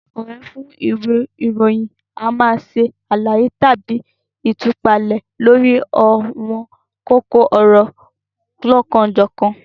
Akọ̀wé fún ìwé ìròyìn a máa ṣe àlàyé tàbí ìtúpalẹ̀ lórí àwọn kókó ọ̀rọ̀ olokan-o-jokan